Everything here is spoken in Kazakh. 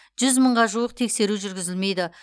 жүз мыңға жуық тексеру жүргізілмейді